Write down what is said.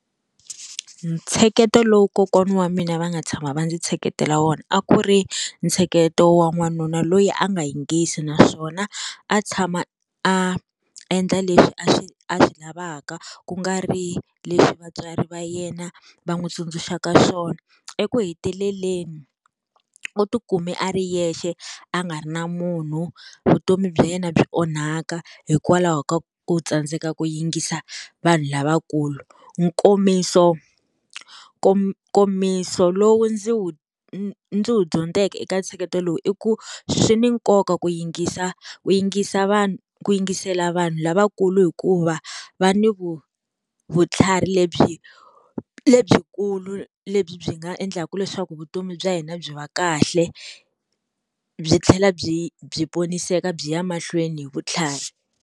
Ntsheketo lowu kokwana wa mina va nga tshama va ndzi tsheketela wona a ku ri ntsheketo wa n'wanuna loyi a nga yingisile naswona a tshama a endla leswi a swi a swi lavaka kungari leswi vatswari va yena va n'wi tsundzuxaka swona, eku heteleleni u ti kumi a ri yexe a nga ri na munhu vutomi bya yena byi onhaka hikwalaho ka u tsandzeka ku yingisa vanhu lavakulu. Nkomiso nkomiso lowu ndzi wu ndzi wu dyondzeke eka ntsheketo lowu i ku swi ni nkoka ku yingisa ku yingisa ku yingisela vanhu lavakulu hikuva va ni vutlhari lebyi lebyikulu lebyi byi nga endlaka leswaku vutomi bya hina byi va kahle byi tlhela byi byi poniseka byi ya mahlweni hi vutlhari.